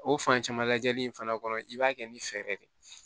O fan caman lajɛli in fana kɔnɔ i b'a kɛ ni fɛɛrɛ de ye